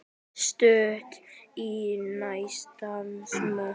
En Króatía vann ekki Noreg.